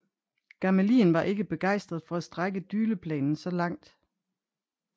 Gamelin var ikke begejstret for at strække Dyleplanen så langt